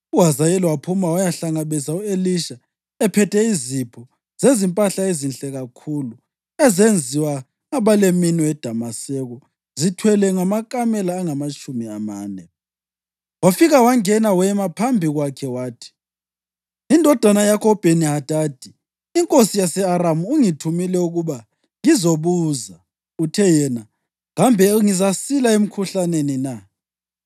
UHazayeli waphuma wayahlangabeza u-Elisha, ephethe izipho zezimpahla ezinhle kakhulu ezenziwa ngabaleminwe eDamaseko zithwelwe ngamakamela angamatshumi amane. Wafika wangena wema phambi kwakhe, wathi, “Indodana yakho uBheni-Hadadi inkosi yase-Aramu ungithumile ukuba ngizobuza, uthe yena, ‘Kambe ngizasila emkhuhlaneni na?’ ”